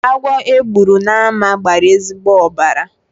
Agwọ e gburu n'ámá gbara ezigbo ọbara.